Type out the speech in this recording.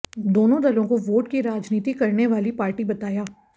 दोनों दलों को वोट की राजनीति करने वाली पार्टी बताया